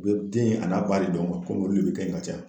U be den a n'a ba de don kuwa komi olu de be kɛ yen ka caya